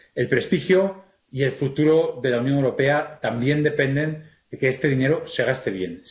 El prestigio y el futuro de la Unión Europea también dependen de que este dinero se gaste bien.